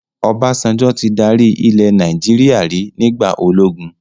Obasanjo tí dárí ilẹ̀ Nàìjíríà rí nígbà ológun